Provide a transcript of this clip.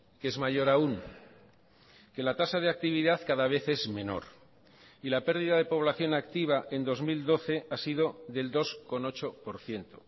que es mayor aun que la tasa de actividad cada vez es menor y la perdida de población activa en dos mil doce ha sido del dos coma ocho por ciento